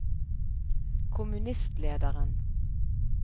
kommunistlederen